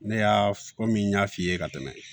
Ne y'a komi n y'a f'i ye ka tɛmɛ